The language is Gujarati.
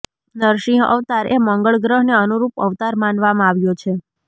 નરસિંહ અવતારએ મંગળ ગ્રહને અનુરૂપ અવતાર માનવામાં આવ્યો છે